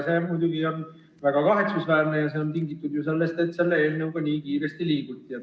See on muidugi väga kahetsusväärne ja see on tingitud ju sellest, et selle eelnõuga nii kiiresti liiguti.